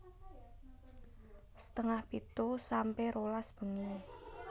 setengah pitu sampe rolas bengi